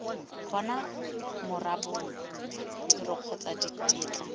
bona marobalo tiro kgotsa ditetla